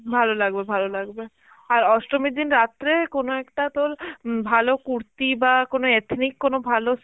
ভালো লাগবে ভালো, আর অষ্টমীর দিন রাত্রে কোন একটা তোর হম ভালো কুর্তি বা কোন ethnic কোনো ভালো